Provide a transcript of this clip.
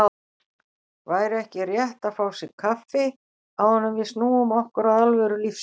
Væri ekki rétt að fá sér kaffi, áður en við snúum okkur að alvöru lífsins.